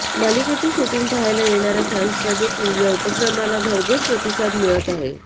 मालिकेचे शूटिंग पाहायला येणाऱया फॅन्सचादेखील या उपक्रमाला भरघोस प्रतिसाद मिळत आहे